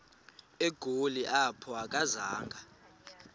egoli apho akazanga